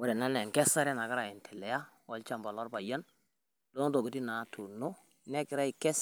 Ore ena naa enkesare nagirai aendelea lolchamba lo lolpayian loontokitin naatuuno negira aikes.